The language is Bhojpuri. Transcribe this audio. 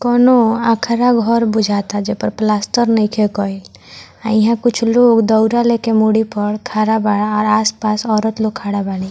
कौवनो अखाड़ा घर बुझाता जे पर प्लास्टर नइखे कइल आ इहाँ कुछ लोग दउरा लेके मुड़ी पर खड़ा बा आ आस-पास औरत लोग खड़ा बाड़ी।